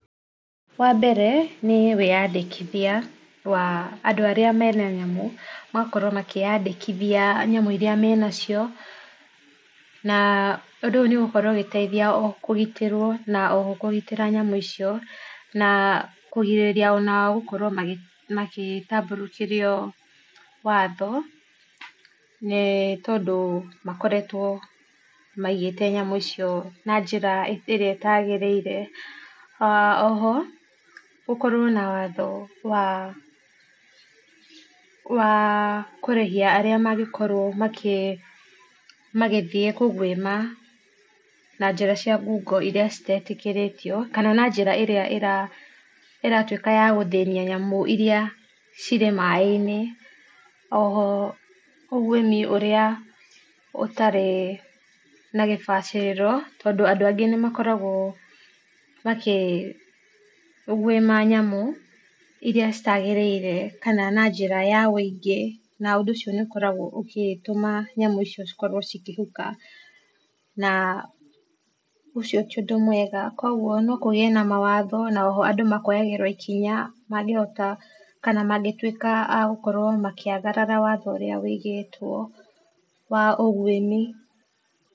Wambere, nĩ wĩyandĩkithia wa andũ arĩa mena yamũ, magakorwo makĩyandĩkithia nyamũ iria menacio, na ũndũ ũyũ nĩ ũgukorwo ũgĩteithia oho kũgitĩrwo na oho kũgitĩra nyamũ icio, na kũgirĩria ona o gũkorwo magĩ magĩtabũrũkĩrio watho, nĩ tondũ makoretwo maigĩte nyamũ icio na njĩra ĩrĩa ĩtagĩrĩire, aa oho gũkorwo na watho wa, wa kũrĩhia arĩa mangĩkorwo makĩ, magĩthiĩ kũguĩma na njĩra cia ngungo iria citetĩkĩorĩtio, kana na njĩra iria ĩ ĩratwĩka yagũthĩnia nyamũ iria cirĩ mai -inĩ, oho ũguĩmi ũrĩa ũtarĩ na gĩbacĩrĩro, tondũ andũ angĩ nĩ makoraguo makĩguĩma nyamũ iria citagĩrĩire, kana na njĩra ya wĩingĩ, na ũndũ ũcio nĩ ũkoragwo ũgĩtũma nyamũ icio cikorwo cikĩhuka, na ũcio tiũndũ mwega, kwoguo nokũgĩe na mawatho na oho andũ makoyagĩrwo ikinya mangĩhota, kana mangĩtuĩka agũkorwo makĩagarara watho ũrĩa wĩigĩtwo wa ũguĩmi.